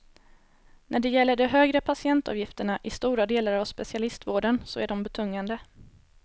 När det gäller de högre patientavgifterna i stora delar av specialistvården så är de betungande.